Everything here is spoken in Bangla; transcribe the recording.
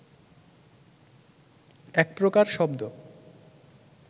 একপ্রকার শব্দ